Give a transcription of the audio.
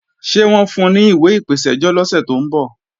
Ṣé wọ́n ń fun ní ìwé ìpèsẹ́jọ́ lọ́sẹ̀ tó ń bọ̀?